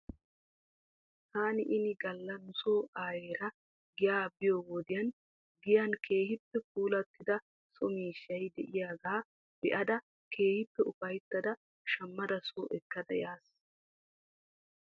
Taani ini gala nuso aayeera giyaa biyoo wodiyan giyan keehippe puulattida so miishshay de'iyaagaa be'ada keehippe ufayttada shammada soo ekkada yaasu.